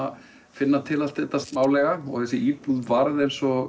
finna til allt þetta smálega þessi íbúð varð eins og